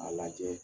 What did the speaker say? A lajɛ